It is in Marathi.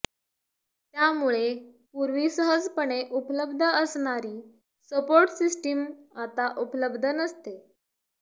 त्यामुळे पूर्वी सहजपणे उपलब्ध असणारी सपोर्ट सिस्टीम आता उपलब्ध नसते